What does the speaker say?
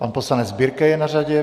Pan poslanec Birke je na řadě.